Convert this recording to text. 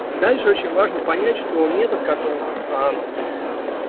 дальше очень важно понять что метод в котором